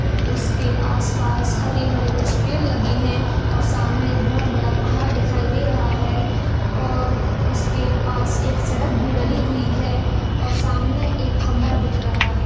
उसके आसपास हरे-हरे कुछ पेड़ लगे हैं और सामने एक बहुत बड़ा पहाड़ दिखाई दे रहा है और उसके पास एक सड़क भी डली हुई है और सामने एक खंभा दिख रहा है।